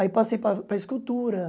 Aí passei para para escultura.